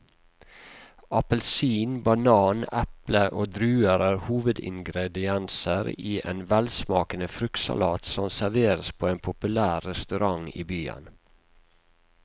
Appelsin, banan, eple og druer er hovedingredienser i en velsmakende fruktsalat som serveres på en populær restaurant i byen.